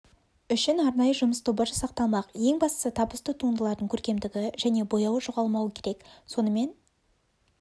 үшін арнайы жұмыс тобы жасақталмақ ең бастысы табысты туындылардың көркемдігі және бояуы жоғалмауы керек сонымен